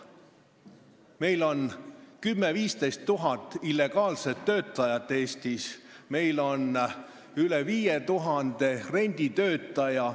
Eestis on 10 000 – 15 000 illegaalset töötajat, meil on üle 5000 renditöötaja.